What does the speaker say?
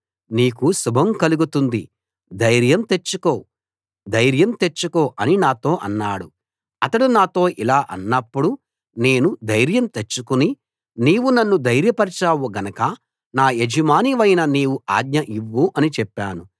నీకు శుభం కలుగుతుంది ధైర్యం తెచ్చుకో ధైర్యం తెచ్చుకో అని నాతో అన్నాడు అతడు నాతో ఇలా అన్నప్పుడు నేను ధైర్యం తెచ్చుకుని నీవు నన్ను ధైర్యపరచావు గనక నా యజమానివైన నీవు ఆజ్ఞ ఇవ్వు అని చెప్పాను